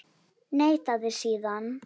Neitaði síðan.